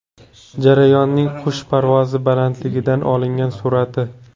Jarayonning qush parvozi balandligidan olingan surati.